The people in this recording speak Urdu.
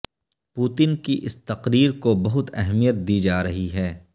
پوتن کی اس تقریر کو بہت اہمیت دی جا رہی ہے